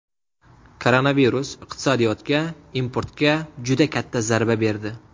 Koronavirus iqtisodiyotga, importga juda katta zarba berdi.